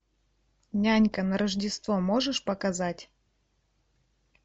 нянька на рождество можешь показать